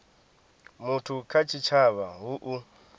muthu kha tshitshavha hu u